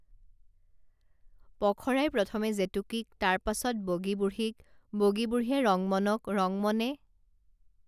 পখৰাই প্ৰথমে জেতুকীক তাৰ পাছত বগী বুঢ়ীক বগী বুঢ়ীয়ে ৰংমনক ৰংমনে